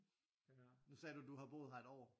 Nu sagde du du havde boet her et år